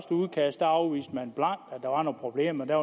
udkast afviste man blankt at der var nogen problemer og der